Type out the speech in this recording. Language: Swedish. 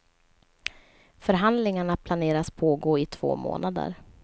Förhandlingarna planeras pågå i två månader.